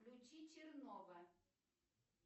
включи чернова